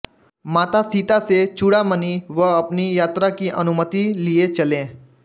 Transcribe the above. माता सीता से चूड़ामणि व अपनी यात्रा की अनुमति लिए चले